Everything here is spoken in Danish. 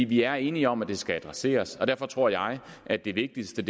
vi er enige om at det skal adresseres og derfor tror jeg at det vigtigste